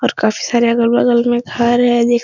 और काफी सारे अगल-बगल में घर है दे --